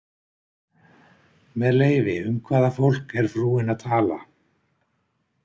Með leyfi, um hvaða fólk er frúin að tala?